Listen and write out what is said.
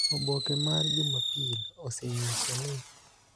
Oboke mar jumapil osenyiso ni